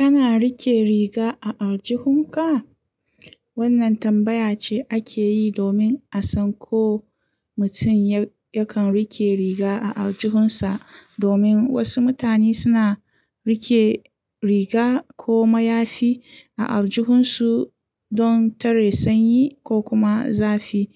Kana riƙe riga a aljihunka? Wannan tambaya ce ake yi domin a san ko mutum yakan riƙe riga a aljihunsa. Domin wasu mutane suna riƙe riga ko mayafi a aljihunsu don tare sanyi ko kuma zafi.